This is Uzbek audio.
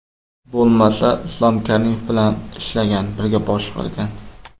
Bo‘lmasa, Islom Karimov bilan ishlagan, birga boshqargan.